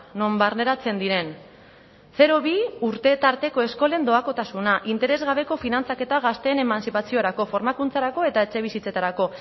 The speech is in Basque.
non barneratzen diren zero bi urte tarteko eskolen doakotasuna interes gabeko finantzaketa gazteen emantzipaziorako formakuntzarako eta etxebizitzetarako